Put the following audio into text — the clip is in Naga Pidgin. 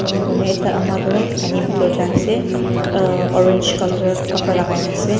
enika kurina ekta ama toh pani bitor jai ase orange colour kapra lakai na ase.